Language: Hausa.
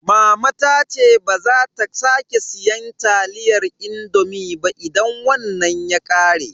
Mama ta ce baza ta sake siyan taliyar indomi ba idan wannan ya ƙare.